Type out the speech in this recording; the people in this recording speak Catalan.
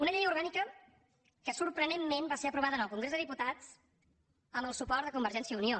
una llei orgànica que sorprenentment va ser aprovada al congrés dels diputats amb el suport de convergència i unió